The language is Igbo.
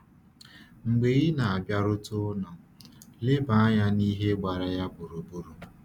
Mgbe ị na-abịarute ụlọ, leba anya n’ihe gbara ya gburugburu.